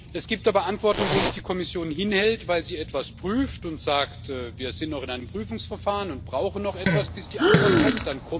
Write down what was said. Es gibt aber Antworten, wo uns die Kommission hinhält, weil sie etwas prüft und sagt Wir sind noch in einem Prüfungsverfahren und brauchen noch etwas, bis die Antwort kommt.